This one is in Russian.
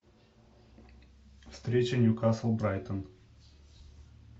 встреча ньюкасл брайтон